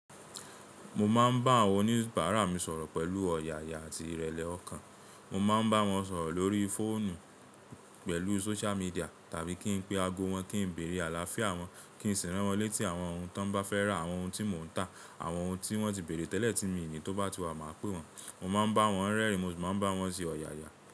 Mo máa ń bá àwọn oníbàárà mi sọ̀rọ̀ pẹ̀lú ọ̀yàyà àti ìrẹ̀lẹ̀ ọkàn. Mo máa ń bá wọn sọ̀rọ̀ lórí fóònù, pẹ̀lú sóṣia midíà tàbí kí n pe ago wọn, kí n bèrè àlàáfíà wọn, kí n sì rán wọ́n létí àwọn ohun tí wọ́n bá fẹ́ rà, àwọn ohun tí mò ń tà, àwọn ohun tí wọ́n ti bèrè tẹ́lẹ̀ tí mii ni tó bá ti wà, màá pè wọ́n. Mo máa ń bá wọn rẹ́rìn, mo sì máa ń bá wọn ṣe ọ̀yàyà.